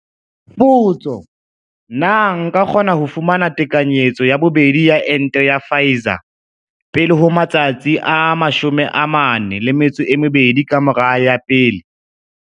Potso. Na nka kgona ho fumana tekanyetso ya bobedi ya ente ya Pfizer pele ho matsatsi a 42 ka mora ya pele?